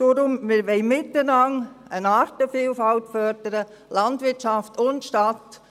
Deshalb: Wir wollen miteinander eine Artenvielfalt fördern, Landwirtschaft und Stadt.